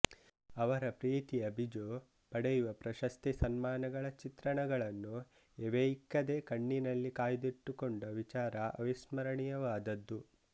ಅವರ ಪ್ರೀತಿಯ ಬಿಜೂ ಪಡೆಯುವ ಪ್ರಶಸ್ತಿ ಸನ್ಮಾನಗಳ ಚಿತ್ರಣಗಳನ್ನು ಎವೆಯಿಕ್ಕದೆ ಕಣ್ಣಿನಲ್ಲಿ ಕಾಯ್ದಿಟ್ಟುಕೊಂಡ ವಿಚಾರ ಅವಿಸ್ಮರಣೀಯವಾದದ್ದು